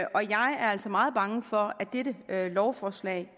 og jeg er altså meget bange for at dette lovforslag